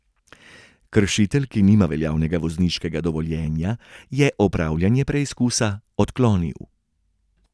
Kršitelj, ki nima veljavnega vozniškega dovoljenja, je opravljanje preizkusa odklonil.